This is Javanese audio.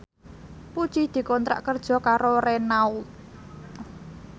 Puji dikontrak kerja karo Renault